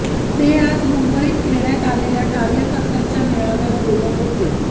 ते आज मुंबईत घेण्यात आलेल्या कार्यकर्त्यांच्या मेळाव्यात बोलत होते